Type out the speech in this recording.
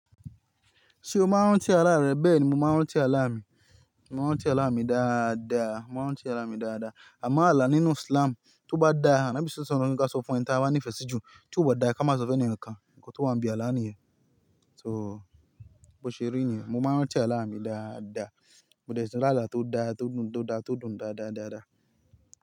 Ṣé o máa ń rántí ara rẹ? Bẹ́ẹ̀ni, mo máa ń rántí àálà mi. Mo máa ń rántí àálà mi dáadáa, mo máa ń rántí àálà mi dáadáa. A mọ ààlà nínú Islam, tó bá dá, ànọ́bì SWS ní ká sọ fún ẹni tí a bá ní ìfẹ́ sí jù, tí ó bá dá kí a máa sọ fún ẹnìkankán, nǹkan tó wà ní bi àlá nìyẹn. So bó ṣe rí nìyẹn, mo máa ń rántí ààlà mi dáadáa. Mo dẹ̀ tí lá àlá tó dá, tó dùn, tó dá, tó dùn dáadáa-dáadáa.